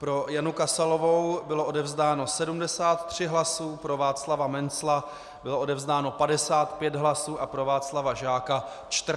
Pro Janu Kasalovou bylo odevzdáno 73 hlasů, pro Václava Mencla bylo odevzdáno 55 hlasů a pro Václava Žáka 14 hlasů.